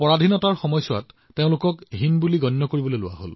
আৰু এতিয়া চাওক সমগ্ৰ বিশ্বই আটাইতকৈ বেছি দক্ষতাৰ ওপৰত গুৰুত্ব আৰোপ কৰিছে